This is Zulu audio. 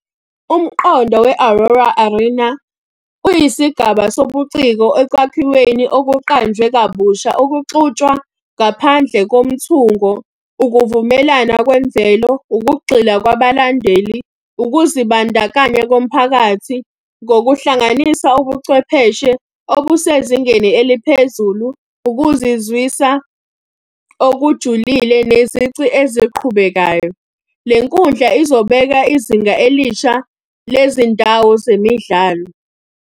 Umqondo we-Aurora Arena, uyisigaba sobuciko ekwakhiweni okuqanjwe kabusha okuxutshwa ngaphandle komthungo. Ukuvumelana kwemvelo, ukugxila kwabalandeli, ukuzibandakanya komphakathi ngokuhlanganisa ubuchwepheshe obusezingeni eliphezulu, ukuzizwisa okujulile nezici eziqhubekayo. Le nkundla izobeka izinga elisha le zindawo zemidlalo.